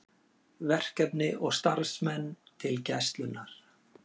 Verkefni og starfsmenn til Gæslunnar